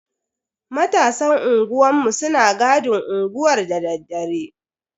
Matasan unguwanmu suna gadin unguwar dadaddare.